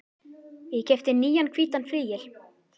Ég keypti nýjan hvítan flygil.